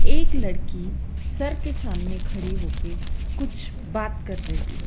एक लड़की सर के सामने खड़ी होके कुछ बात कर रही है।